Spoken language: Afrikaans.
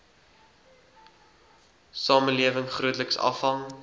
samelewing grootliks afhang